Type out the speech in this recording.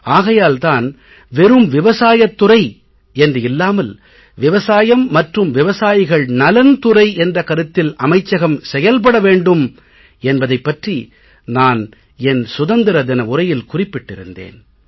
ஆகையால் தான் வெறும் விவசாயத் துறை என்று இல்லாமல் விவசாயம் மற்றும் விவசாயிகள் நலன் துறை என்ற கருத்தில் அமைச்சகம் செயல்பட வேண்டும் என்பதைப் பற்றி நான் என் சுதந்திர தின உரையில் குறிப்பிட்டிருந்தேன்